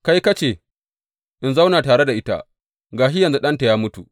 Kai ka ce in zauna tare da ita, ga shi yanzu ɗanta ya mutu.